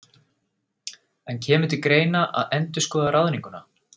En kemur til greina að endurskoða ráðninguna?